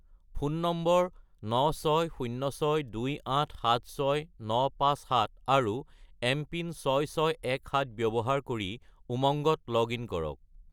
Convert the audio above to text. Phone number 96062876957 আৰু MPIN 6617 ব্যৱহাৰ কৰি উমংগত লগ-ইন কৰক।